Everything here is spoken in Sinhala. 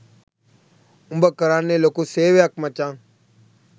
උඹ කරන්නෙ ලොකු සේවයක් මචන්